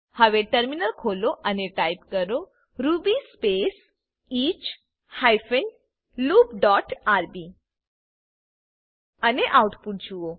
હવે ટર્મિનલ ખોલો અને ટાઈપ કરો Ruby space H hyphen loop dot RB અને આઉટપુટ જુઓ